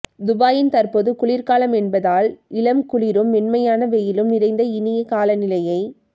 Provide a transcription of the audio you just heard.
துபாயின் தற்போது குளிர்காலமென்பதால் இளம்குளிரும் மென்மையான வெயிலும் நிறைந்த இனிய காலநிலையை